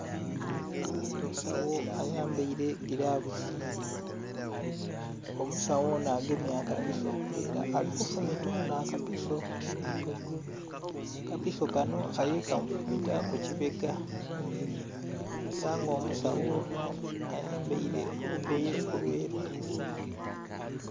Omusawo ayambaire gilavusi omusawo onho agemye akapiso nga era ali kifumita onho akapiso, akapiso kanho ali kamufumita ku ki bega era nga omusawo onho ayambaire olugoye olweru.